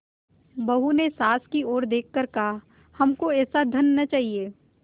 बहू ने सास की ओर देख कर कहाहमको ऐसा धन न चाहिए